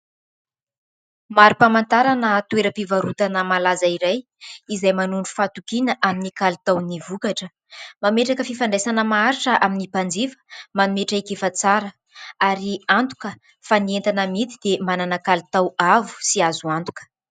Mari-pahamantarana toeram-pivarotana malaza iray izay manondro fahatokiana amin'ny kalitaon'ny vokatra, mametraka fifandraisana maharitra amin'ny mpanjifa, manome traikefa tsara ary antoka fa ny entana amidy dia manana kalitao avo sy azo antoka.